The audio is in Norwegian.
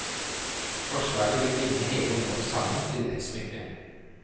Forslaget vil binde hele området sammen til et smykke.